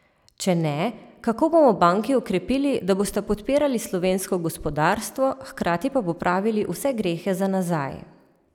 Če ne, kako bomo banki okrepili, da bosta podpirali slovensko gospodarstvo, hkrati pa popravili vse grehe za nazaj?